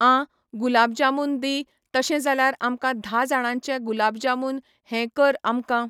आं गुलाब जामुन दी तशें जाल्यार आमकां धा जाणांचें गुलाब जामुन हें कर आमकां